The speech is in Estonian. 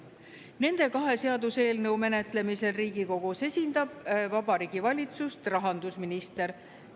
Nende kahe seaduseelnõu menetlemisel Riigikogus esindab Vabariigi Valitsust rahandusminister.